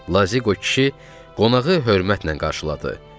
Lazıqo kişi qonağı hörmətlə qarşıladı.